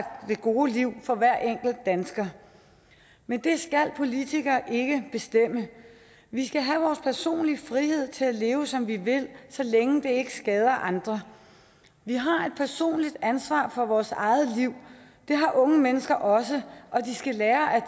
det gode liv for hver enkelt dansker men det skal politikere ikke bestemme vi skal have vores personlige frihed til at leve som vi vil så længe det ikke skader andre vi har et personligt ansvar for vores eget liv det har unge mennesker også og de skal lære at